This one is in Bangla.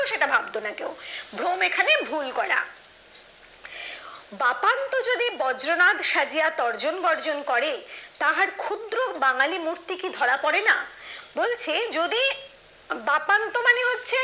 সেটা ভাবতো না কেউ ভ্রম এখানে ভুল করা বাতানত্র যদি বজ্রনাথ সাজিয়া গর্জন বর্জন করে তাহার ক্ষুদ্র বাঙালি মূর্তি কি ধরা পড়ে না বলছে যদি বাতানত্র মানে হচ্ছে